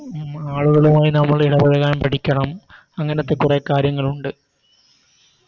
ആളുകളുമായി നമ്മൾ ഇടപഴകാൻ പഠിക്കണം അങ്ങനത്തെ കുറെ കാര്യങ്ങളുണ്ട്